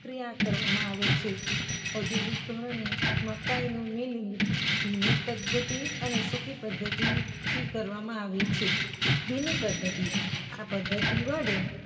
પ્રક્રિયા કરવામાં આવે છે. ઔધૌગિક ધોરણે મકાઇનું મિલિંગ ભીની પધ્ધતિ અને સુકી પધ્ધતિથી કરવામાં આવે છે. ભીની પધ્ધતિ- આ પધ્ધતિ વડે